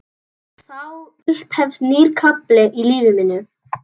Og þá upphefst nýr kafli í lífi mínu.